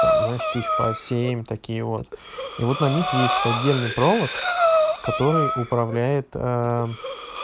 там знаешь тысяч по семь такие вот и вот на них есть отдельный провод который управляет